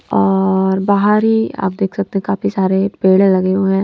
और बाहर ही आप देख सकते हैं काफी सारे पेड़े लगे हुए हैं।